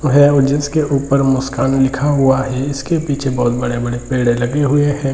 उहे और जिसके ऊपर मुस्कान लिखा हुआ है इसके पीछे बहुत बड़े-बड़े पेड़ लगे हुए हैं।